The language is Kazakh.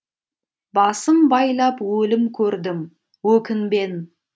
басым байлап өлім көрдім өкінбен